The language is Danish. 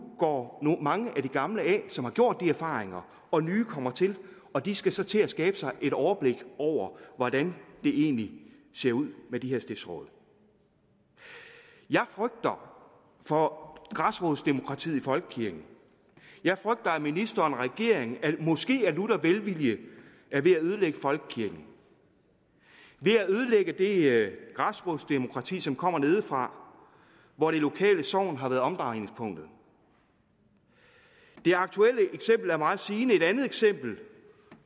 går mange af de gamle som har gjort de erfaringer og nye kommer til og de skal så til at skabe sig et overblik over hvordan det egentlig ser ud med de her stiftsråd jeg frygter for græsrodsdemokratiet i folkekirken jeg frygter at ministeren og regeringen måske af lutter velvilje er ved at ødelægge folkekirken ved at ødelægge det græsrodsdemokrati som kommer nedefra hvor det lokale sogn har været omdrejningspunktet det aktuelle eksempel er meget sigende et andet eksempel